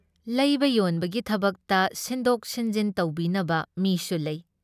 ꯂꯩꯕ ꯌꯣꯟꯕꯒꯤ ꯊꯕꯛꯇ ꯁꯤꯟꯗꯣꯛ ꯁꯤꯟꯖꯤꯟ ꯇꯧꯕꯤꯅꯕ ꯃꯤꯁꯨ ꯂꯩ ꯫